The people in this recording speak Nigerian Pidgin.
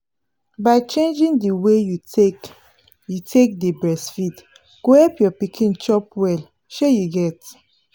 by changing the way you take you take dey breastfeed go help your pikin chop well shey you get